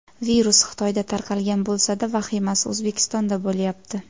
Virus Xitoyda tarqalgan bo‘lsa-da, vahimasi O‘zbekistonda bo‘lyapti.